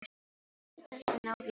En gættu þess að ná vélinni heim.